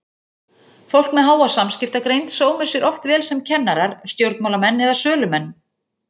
Fólk með háa samskiptagreind sómir sér oft vel sem kennarar, stjórnmálamenn eða sölumenn.